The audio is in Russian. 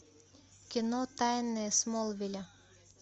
кино тайны смолвиля